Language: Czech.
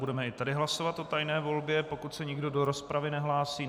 Budeme i tady hlasovat o tajné volbě, pokud se nikdo do rozpravy nehlásí.